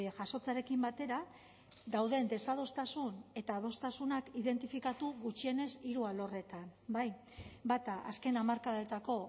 jasotzearekin batera dauden desadostasun eta adostasunak identifikatu gutxienez hiru alorretan bai bata azken hamarkadetako